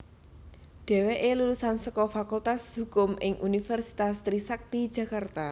Dheweké lulusan saka Fakultas Hukum ing Universitas Trisakti Jakarta